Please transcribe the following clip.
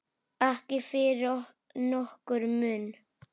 Ekki fyrir nokkurn mun.